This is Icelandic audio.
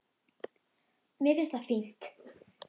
Mér finnst það fínt.